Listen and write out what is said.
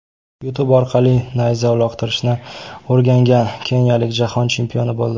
YouTube orqali nayza uloqtirishni o‘rgangan keniyalik jahon chempioni bo‘ldi.